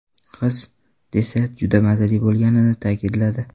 Qiz desert juda mazali bo‘lganini ta’kidladi.